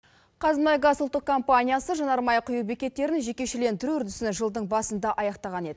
қазмұнайгаз ұлттық компаниясы жанармай құю бекеттерін жекешелендіру үрдісін жылдың басында аяқтаған еді